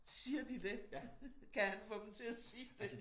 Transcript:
Siger de dét kan han få dem til at sige dét